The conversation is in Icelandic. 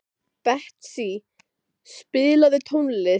Betsý, spilaðu tónlist.